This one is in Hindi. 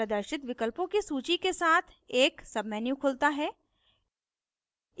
प्रदर्शित विकल्पों की सूची के साथ एक menu खुलता है